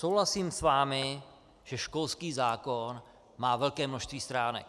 Souhlasím s vámi, že školský zákon má velké množství stránek.